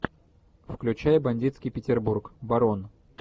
включай бандитский петербург барон